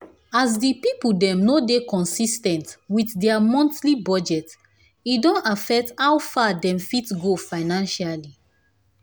as the people dem no dey consis ten t with their monthly budget e don affect how far dem fit go financially.